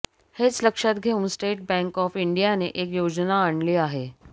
हेच लक्षात घेऊन स्टेट बँक ऑफ इंडियाने एक योजना आणली आहे